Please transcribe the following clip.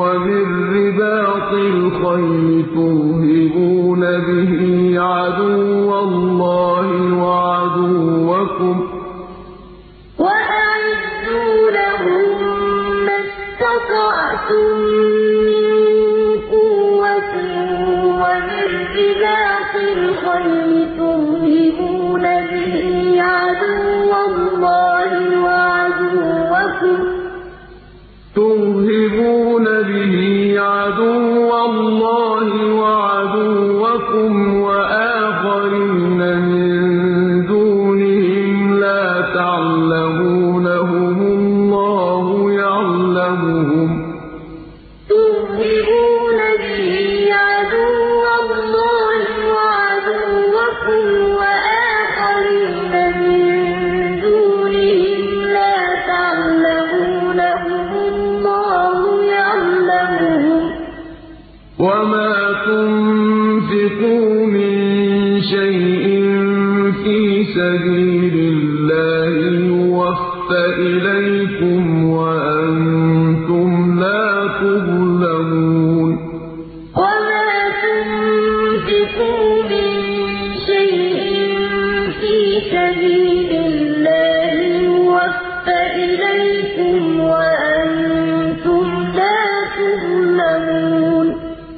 وَمِن رِّبَاطِ الْخَيْلِ تُرْهِبُونَ بِهِ عَدُوَّ اللَّهِ وَعَدُوَّكُمْ وَآخَرِينَ مِن دُونِهِمْ لَا تَعْلَمُونَهُمُ اللَّهُ يَعْلَمُهُمْ ۚ وَمَا تُنفِقُوا مِن شَيْءٍ فِي سَبِيلِ اللَّهِ يُوَفَّ إِلَيْكُمْ وَأَنتُمْ لَا تُظْلَمُونَ وَأَعِدُّوا لَهُم مَّا اسْتَطَعْتُم مِّن قُوَّةٍ وَمِن رِّبَاطِ الْخَيْلِ تُرْهِبُونَ بِهِ عَدُوَّ اللَّهِ وَعَدُوَّكُمْ وَآخَرِينَ مِن دُونِهِمْ لَا تَعْلَمُونَهُمُ اللَّهُ يَعْلَمُهُمْ ۚ وَمَا تُنفِقُوا مِن شَيْءٍ فِي سَبِيلِ اللَّهِ يُوَفَّ إِلَيْكُمْ وَأَنتُمْ لَا تُظْلَمُونَ